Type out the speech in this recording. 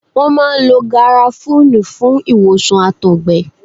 Wọ́n máa ń lo Gàràfúní fún ìwòsàn Àtọ̀gbẹ.